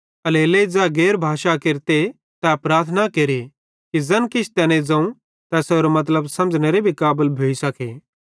एल्हेरेलेइ ज़ै गैर भाषा केरते तै प्रार्थना केरे कि ज़ैन किछ तैने ज़ोवं तैसेरो मतलब समझ़ेनेरे काबल भी भोइ सके